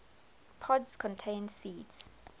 pods contain seeds